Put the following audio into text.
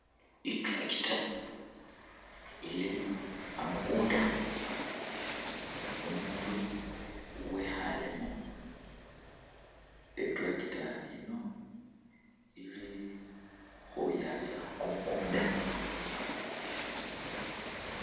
I'tractor ili a'mukuunda, umuundu wekhaalemu, i'tractor yino ili khuyaasa kumukunda.